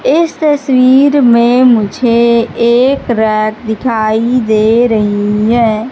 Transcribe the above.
इस तस्वीर में मुझे एक रैक दिखाई दे रही है।